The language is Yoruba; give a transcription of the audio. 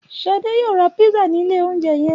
Ṣadé yóò ra písà ní ilé-oúnjẹ yẹn.